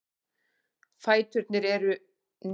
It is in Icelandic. Fæturnir eru net.